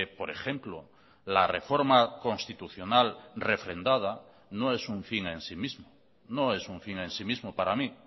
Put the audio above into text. por ejemplo la reforma constitucional refrendada no es un fin en sí mismo no es un fin en sí mismo para mí